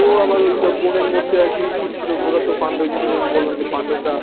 ও আবার বনের মধ্যে একদিন ঘুরছিল ওরা তো যেমন বললাম যে পাণ্ডবরা